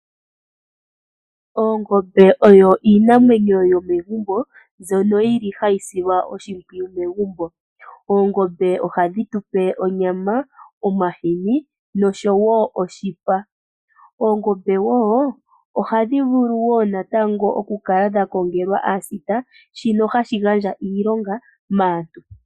Ongombe oyo oshitekulwanamwenyo shomegumbo nenge koofaalama. Oongombe ohadhi tekulilwa molwaashoka ohadhi tupe onyama, omahini, oshipa nayilwe oyindji. Oongombe ohadhi longelwa aasita yokudhilitha nokudhisila oshimpwiyu. Shika ohashi kandulapo okwaahena iilonga.